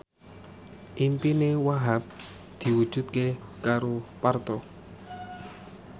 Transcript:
impine Wahhab diwujudke karo Parto